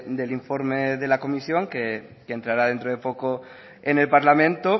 del informe de la comisión que entrará dentro de poco en el parlamento